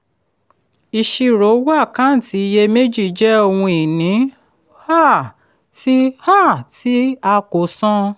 ìṣirò owó àkáǹtì iyè méjì jẹ́ ohun ìní um tí um tí a kò san.